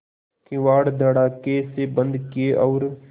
किवाड़ धड़ाकेसे बंद किये और